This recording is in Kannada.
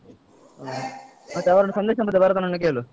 ಹಾ ಮತ್ತೆ ಅವರನ್ನು ಸಂದೇಶ ಮತ್ತೆ ಭರತನನ್ನು ಕೇಳು?